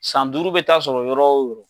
San duuru bɛ taa sɔrɔ yɔrɔ o yɔrɔ.